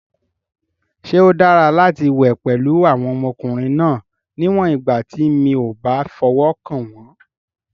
Ṣé ó dára láti wẹ̀ pẹ̀lú àwọn ọmọkùnrin náà, níwọ̀n ìgbà tí mi ò bá fọwọ́ kàn wọ́n?